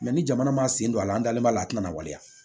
ni jamana man sen don a la an dalen b'a la a tɛna waleya